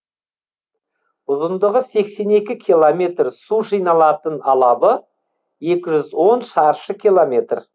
ұзындығы сексен екі километр су жиналатын алабы екі жүз он шаршы километр